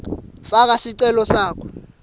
faka sicelo sakho